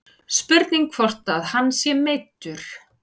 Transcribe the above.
Spurning hvort að hann sé meiddur.